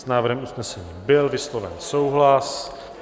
S návrhem usnesení byl vysloven souhlas.